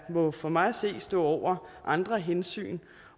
må for mig at se stå over andre hensyn